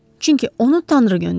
Çünki onu Tanrı göndərib.